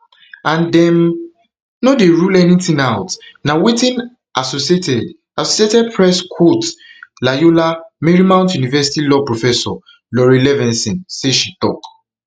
and dem no dey rule anytin out na wetin associated associated press quote loyola marymount university law professor laurie levenson say she tok